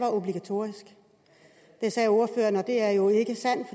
obligatorisk det sagde ordføreren og det er jo ikke sandt